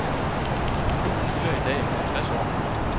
Klubben fylder i dag halvtreds år.